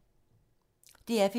DR P3